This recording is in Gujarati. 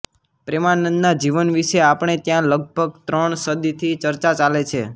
પ્રેમાનંદના જીવન વિશે આપણે ત્યાં લગભગ ત્રણ સદીથી ચર્ચા ચાલે છે